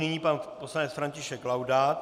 Nyní pan poslanec František Laudát.